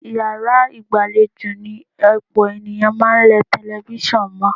Yàrá ìgbàlejò ni ọ̀pọ̀ ènìyàn máa ń lẹ tẹlifíṣàn mọ́.